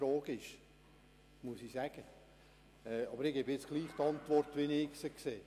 Ich gebe dennoch die Antwort, wie ich sie sehe.